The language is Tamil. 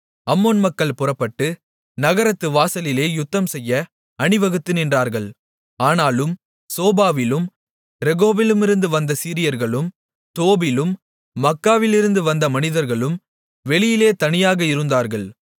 அம்மோன் மக்கள் புறப்பட்டு நகரத்து வாசலிலே யுத்தம்செய்ய அணிவகுத்து நின்றார்கள் ஆனாலும் சோபாவிலும் ரேகோபிலுமிருந்து வந்த சீரியர்களும் தோபிலும் மாக்காவிலுமிருந்து வந்த மனிதர்களும் வெளியிலே தனியாக இருந்தார்கள்